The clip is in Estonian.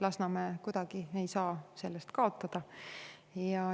Lasnamäe ei saa kuidagi sellest kaotada.